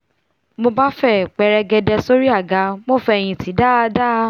mo bá fẹ̀ pẹrẹgẹdẹ sórí àga mo fẹ̀hìntì dáadáa